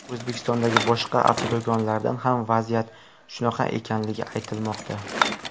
O‘zbekistondagi boshqa avtodo‘konlarda ham vaziyat shunaqa ekanligi aytilmoqda.